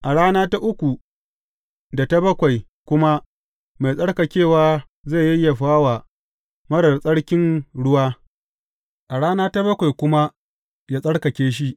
A rana ta uku, da ta bakwai kuma mai tsarkakewa zai yayyafa wa marar tsarkin ruwa, a rana ta bakwai kuma yă tsarkake shi.